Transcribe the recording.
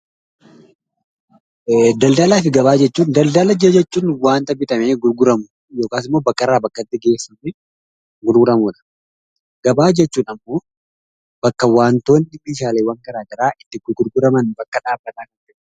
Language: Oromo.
Daldalaa fi Gabaa jechuun daldala jechuun waanta bitamee gurguramu yookiis immoo bakka irraa bakkatti geessuu fi gurguramudha. Gabaa jechuun ammoo bakka waantonni fi meeshaaleen garaa garaa itti gurguguraman bakka dhaabbataa jechuudha.